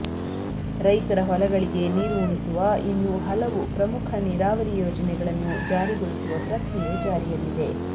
ರೈತರ ಹೊಲಗಳಿಗೆ ನೀರು ಉಣಿಸುವ ಇನ್ನೂ ಹಲವು ಪ್ರಮುಖ ನೀರಾವರಿ ಯೋಜನೆಗಳನ್ನು ಜಾರಿಗೊಳಿಸುವ ಪ್ರಕ್ರಿಯೆ ಜಾರಿಯಲ್ಲಿದೆ